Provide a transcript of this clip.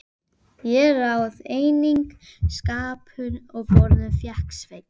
Ég réð einnig skápum og borðum og fékk Svein